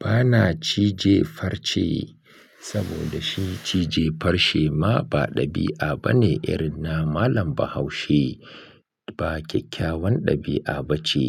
Ba na cije farce saboda shi cije farce ma ba ɗabi'a bane. Ɓa na Malam Bahaushe ba kyakkyawan ɗabi'a ba ce.